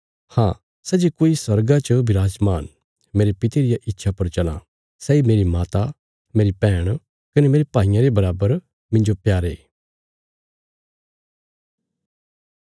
हाँ सै जे कोई स्वर्गा च बिराजमान मेरे पिता रिया इच्छा पर चलां सैई मेरी माता मेरी बैहण कने मेरे भाईये रे बराबर मिन्जो प्यारे